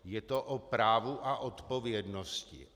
Je to o právu a odpovědnosti.